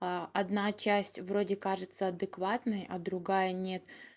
а одна часть вроде кажется адекватной а другая нет